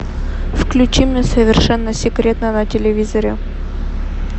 включи мне совершенно секретно на телевизоре